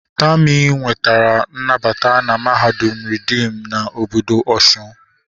Tami nwetara nnabata na mahadum reedim na obodo Osun